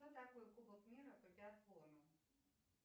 кто такой кубок мира по биатлону